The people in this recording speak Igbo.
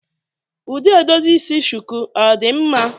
Ụdị edozi isi shuku ọ dị mma?